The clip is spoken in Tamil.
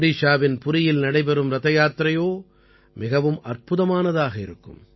ஒடிஷாவின் புரியில் நடைபெறும் ரதயாத்திரையோ மிகவும் அற்புதமானதாக இருக்கும்